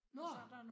Nåh!